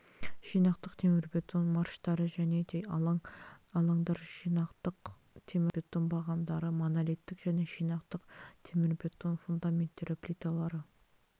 жинақтық темірбетон марштары және де алаңдар жинақтық темірбетон бағандары монолиттік және жинақтық темірбетон фундаменттері плиталары